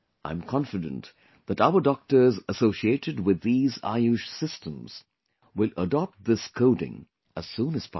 I am confident that our doctors associated with these AYUSH systems will adopt this coding as soon as possible